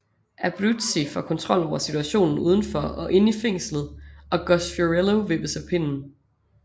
Abruzzi får dermod kontrol over situationen udenfor og inde i fængslet og Gus Fiorello vippes af pinden